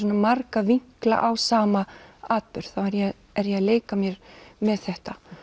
marga vinkla á sama atburð þá er ég er ég að leika mér með þetta